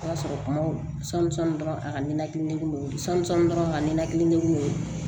O y'a sɔrɔ kumaw sanmisanin dɔrɔn a ka ninakili sɔmi dɔrɔn ka ninakili